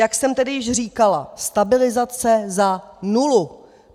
Jak jsem tedy již říkala, stabilizace za nulu!